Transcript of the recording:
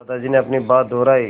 दादाजी ने अपनी बात दोहराई